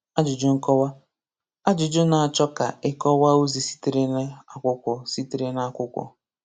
Ajụjụ Nkọwa: Ajụjụ n'achọ ka ịkọwa ozi sitere n’akwụkwọ. sitere n’akwụkwọ.